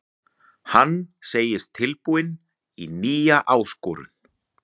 Hann segist tilbúinn í nýja áskorun.